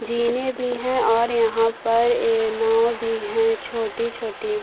जीने भी है और यहाँ पर ये नाव भी है छोटी- छोटी --